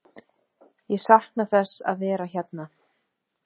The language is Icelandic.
Ég sakna þess að vera hérna.